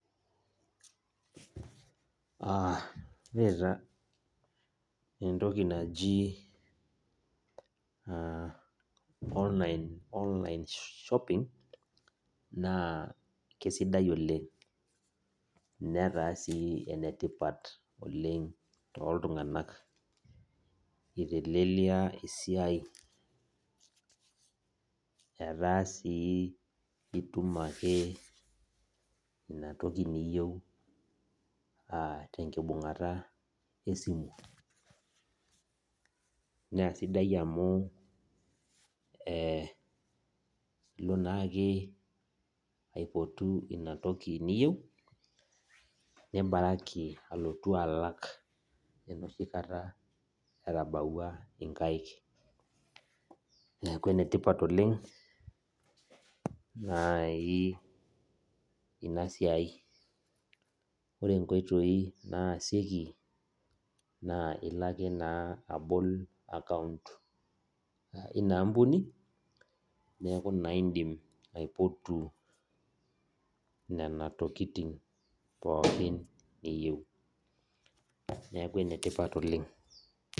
Aa ore taa entoki naji online shopping na Kesidai oleng netaa si enetipat oleng toltunganak itelelia esiai ataake intuma inatoki ewueji niyieu tenkibungata esimu na sidai amu ilo naake aipotu inatoki niyieu nibaraki alotu alak enoshikata etabawua nkaik neaku enetipat oleng nai inasiai, ore nkoitoi naasieki na ilo ake abol account ina ampuni neaku indim naa aipotu nona tokitin pookin niyieu neaku enetipat oleng.